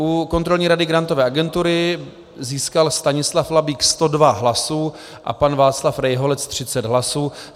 U Kontrolní rady Grantové agentury získal Stanislav Labík 102 hlasů a pan Václav Rejholec 30 hlasů.